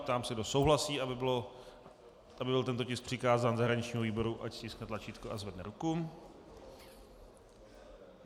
Ptám se, kdo souhlasí, aby byl tento tisk přikázán zahraničnímu výboru, ať stiskne tlačítko a zvedne ruku.